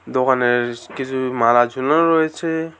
দোকানেরস কিসু মালা ঝুলানো রয়েছে।